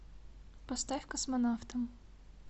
поставь космонавтам